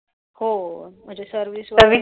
हो म्हणजे service वगरे